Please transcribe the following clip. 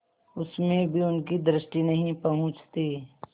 उसमें भी उनकी दृष्टि नहीं पहुँचती